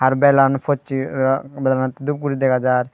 belan boseh belanote dup guri degajar.